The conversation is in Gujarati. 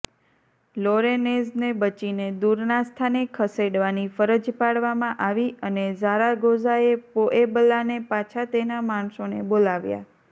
લોરેન્નેઝને બચીને દૂરના સ્થાને ખસેડવાની ફરજ પાડવામાં આવી અને ઝારાગોઝાએ પોએબલાને પાછા તેના માણસોને બોલાવ્યા